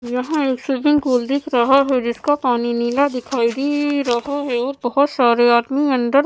यहाँ एक swimming pool दिख रहा है जिसका पानी नीला दिखाई देएए रहा है और बहुत सारे आदमी अन्दर --